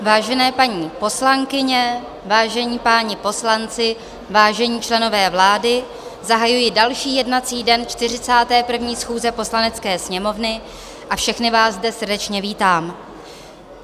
Vážené paní poslankyně, vážení páni poslanci, vážení členové vlády, zahajuji další jednací den 41. schůze Poslanecké sněmovny a všechny vás zde srdečně vítám.